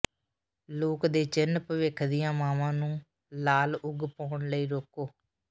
ਲੋਕ ਦੇ ਚਿੰਨ੍ਹ ਭਵਿੱਖ ਦੀਆਂ ਮਾਵਾਂ ਨੂੰ ਲਾਲ ਉਗ ਪਾਉਣ ਲਈ ਰੋਕੋ